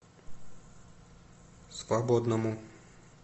свободному